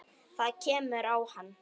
Það kemur á hann.